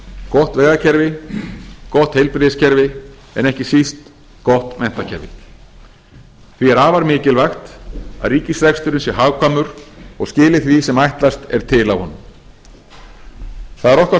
gott vegakerfi gott heilbrigðiskerfi en ekki síst gott menntakerfi því er afar mikilvægt að ríkisreksturinn sé hagkvæmur og skili því sem ætlast er til af honum það er okkar